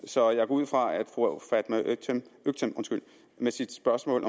så jeg går ud fra at fru fatma øktem med sit spørgsmål